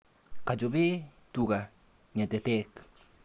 Kachope tuga ng'etetek.